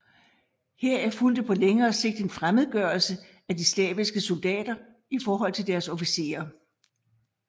Heraf fulgte på længere sigt en fremmedgørelse af de slaviske soldater i forhold til deres officerer